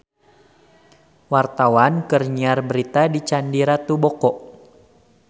Wartawan keur nyiar berita di Candi Ratu Boko